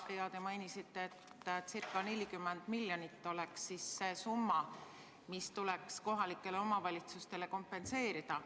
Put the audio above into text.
Te mainisite, et circa 40 miljonit oleks see summa, mis tuleks kohalikele omavalitsustele kompenseerida.